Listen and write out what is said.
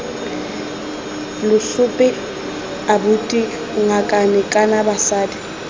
lesope abuti ngakane kana batsadi